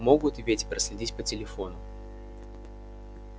могут и ведь проследить по телефону